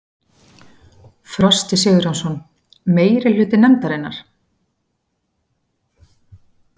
Frosti Sigurjónsson: Meirihluta nefndarinnar?